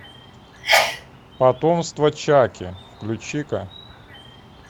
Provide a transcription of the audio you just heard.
потомство чаки включи ка